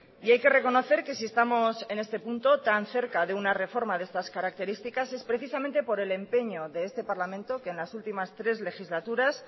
y hay que reconocer que si estamos en este punto tan cerca de una reforma de estas características es precisamente por el empeño de este parlamento que en las últimas tres legislaturas